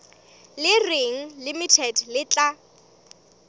le reng limited le tla